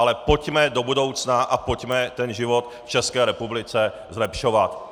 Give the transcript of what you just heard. Ale pojďme do budoucna a pojďme ten život v České republice zlepšovat!